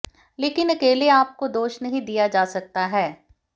लेकिन अकेले आप को दोष नहीं दिया जा सकता है